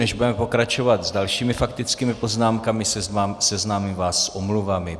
Než budeme pokračovat s dalšími faktickými poznámkami, seznámím vás s omluvami.